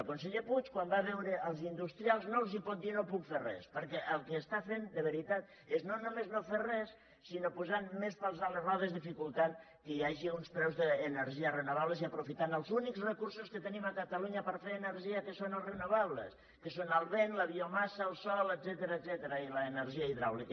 el conseller puig quan va a veure els industrials no els pot dir no puc fer res perquè el que està fent de veritat és no només no fer res sinó posant més pals a les rodes dificultant que hi hagi uns preus d’energies renovables i aprofitant els únics recursos que tenim a catalunya per fer energia que són els renovables que són el vent la biomassa el sol etcètera i l’energia hidràulica